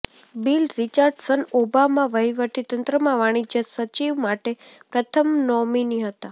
bill Richardson Obama વહીવટીતંત્રમાં વાણિજ્ય સચિવ માટે પ્રથમ નોમિની હતા